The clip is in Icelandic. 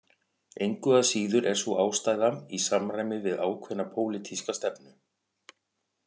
Engu að síður er sú ástæða í samræmi við ákveðna pólitíska stefnu